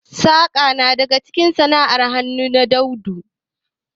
Saƙa na daga cikin sana'ar hannu daɗaɗɗu